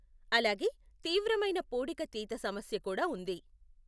అలాగే, తీవ్రమైన పూడిక తీత సమస్య కూడా ఉంది.